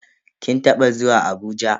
Kin taba zuwa Abuja?